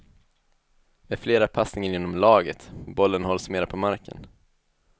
Med flera passningar inom laget, bollen hålls mera på marken.